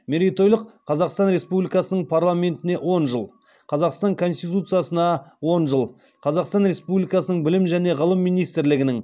мерейтойлық қазақстан республикасының парламентіне он жыл қазақстан конституциясына он жыл қазақстан республикасының білім және ғылым министрлігінің